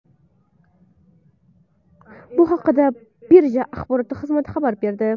Bu haqda birja axborot xizmati xabar berdi .